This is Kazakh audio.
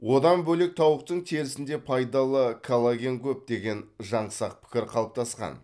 одан бөлек тауықтың терісінде пайдалы коллаген көп деген жаңсақ пікір қалыптасқан